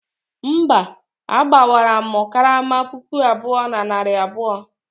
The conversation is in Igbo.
mba, agbawaram karama puku abụọ na narị abụọ